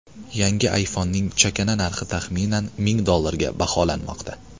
Yangi ayfonning chakana narxi taxminan ming dollarga baholanmoqda.